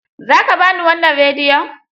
Za ka ba ni wannan rediyon?